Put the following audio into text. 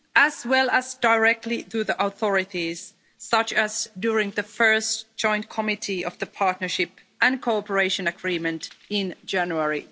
as well as directly through the authorities, such as during the first Joint Committee of the Partnership and Cooperation Agreement in January